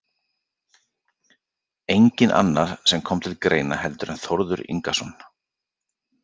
Enginn annar sem kom til greina heldur en Þórður Ingason